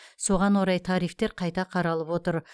соған орай тарифтер қайта қаралып отыр